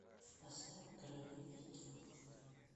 поставь короли видео